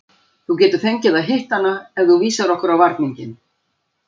Þú getur fengið að hitta hana ef þú vísar okkur á varninginn.